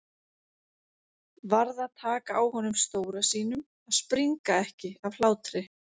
Varð að taka á honum stóra sínum að springa ekki af hlátri.